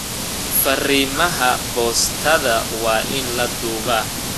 Farimaha boostada waa in la duubaa